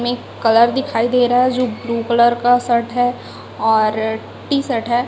में कलर दिखाई दे रहा है जो ब्लू कलर का शर्ट है और टी_शर्ट है।